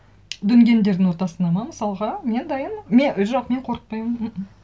дүнгендердің ортасына ма мысалға мен дайынмын мен жоқ мен қорықпаймын мқм